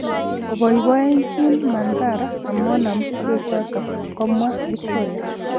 Oboiboichi mandhari amonam bechotok, komwa victoria.